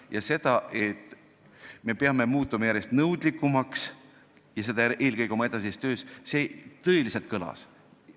Kõlama jäi see, et peame muutuma järjest nõudlikumaks ja seda eelkõige oma edasises töös.